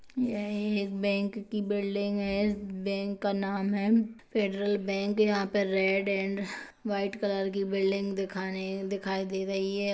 यह एक बैंक की बिल्ड़िंग है बैंक का नाम है फेडरल बैंक यहां पे रेड एन्ड व्हाइट कलर की एक बिल्डिंग दिखाई दे रही है -